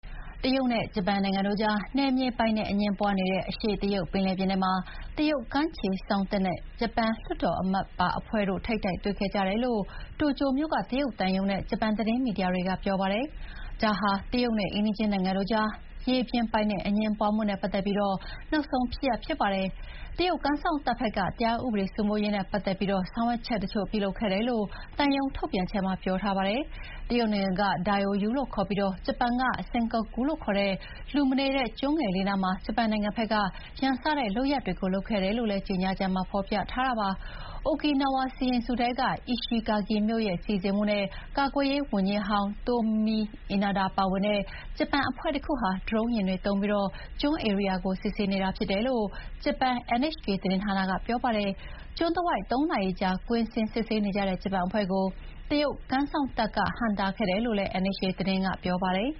တရုတ်နဲ့ဂျပန်တို့ကြား နယ်မြေပိုင်နက်အငြင်းပွါးနေတဲ့ အရှေ့တရုတ်ပင်လယ်ပြင်ထဲမှာ တရုတ်ကမ်းခြေစောင့်တပ်နဲ့ ဂျပန်လွှတ်တော်အမတ်ပါအဖွဲ့တို့ ထိပ်တိုက်တွေ့ခဲ့ကြတယ်လို့ တိုကျိုမြို့က တရုတ်သံရုံးနဲ့ ဂျပန်သတင်းမီဒီယာတွေက ပြောပါတယ်။ ဒါဟာ တရုတ်နဲ့အိမ်နီးချင်းနိုင်ငံတို့ကြား ရေပြင်ပိုင်နက်အငြင်းပွါးမှုနဲ့ပတ်သက်ပြီး နောက်ဆုံးဖြစ်ရပ်ဖြစ်ပါတယ်။ တရုတ်ကမ်းစောင့်တပ်ဘက်က တရားဥပဒေစိုးမိုးရေးနဲ့ပတ်သက်ပြီး ဆောင်ရွက်ချက်တချို့ပြုလုပ်ခဲ့တယ်လို့ သံရုံးထုတ်ပြန်ချက်မှာ ပြောထားပါတယ်။ တရုတ်နိုင်ငံက “Diaoyu “လို့ခေါ်ပြီး ဂျပန်က “Senkaku” လို့ခေါ်တဲ့ လူမနေတဲ့ကျွန်းငယ်လေးနားမှာ ဂျပန်နိုင်ငံဘက်က ရန်စတဲ့လုပ်ရပ်တွေ လုပ်ခဲ့တယ်လို့လည်း ကြေညာချက်မှာ ဖော်ပြထားပါတယ်။ အိုကီနာဝါစီရင်စုထဲက အီရှီဂါကီမြို့ရဲ့စီစဥ်မှုနဲ့ ဂျပန်ကာကွယ်ရေးဝန်ကြီးဟောင်း Tomomi Inada ပါဝင်တဲ့ ဂျပန်အဖွဲ့တခုဟာ ဒရုန်းယာဥ်တွေသုံးပြီး ကျွန်းဧရိယာကို စစ်ဆေးနေတာဖြစ်တယ်လို့ ဂျပန်NHK သတင်းဌာနက ပြောပါတယ်။ ကျွန်းတဝိုက် ၃ နာရီကြာ ကွင်းဆင်းစစ်ဆေးနေကြတဲ့ ဂျပန်အဖွဲ့ကို တရုတ်ကမ်းစောင့်တပ်က ဟန့်တားခဲ့တယ်လို့လည်း NHK သတင်းက ပြောပါတယ်